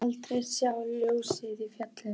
Aldrei sást neitt ljós í fjallinu.